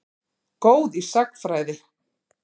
Góð í sagnfræði.